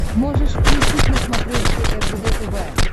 можешь включить на смотрешке ржд тв